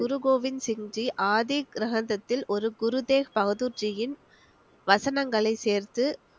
குரு கோவிந்த் சிங் ஜி ஆதி கிரந்தத்தில் ஒரு குரு தேவ் பகதூர் ஜியின் வசனங்களை சேர்த்து